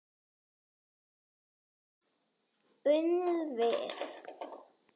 Unnið við mótauppslátt.